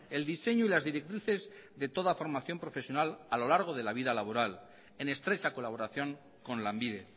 el diseño y las directrices de toda formación profesional a lo largo de la vida laboral en estrecha colaboración con lanbide